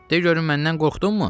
De görüm məndən qorxdunmu?